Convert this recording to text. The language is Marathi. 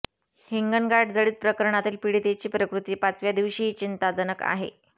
हिंगणघाट जळीत प्रकरणातील पीडितेची प्रकृती पाचव्या दिवशीही चिंताजनक आहे